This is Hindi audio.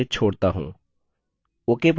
ok पर click करें